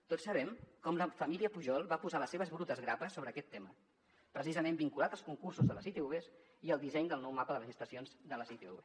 tots sabem com la família pujol va posar les seves brutes grapes sobre aquest tema precisament vinculat als concursos de les itvs i al disseny del nou mapa de les estacions de les itvs